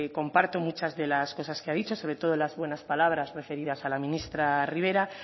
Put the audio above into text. comparto muchas de las cosas que ha dicho sobre todo las buenas palabras referidas a la ministra ribera